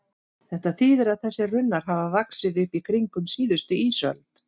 Þetta þýðir að þessir runnar hafa vaxið upp í kringum síðustu ísöld.